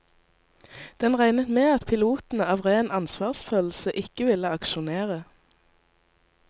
Den regnet med at pilotene av ren ansvarsfølelse ikke ville aksjonere.